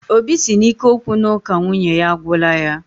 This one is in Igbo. Óbị si na ike okwu na uka nwunye ya agwula yá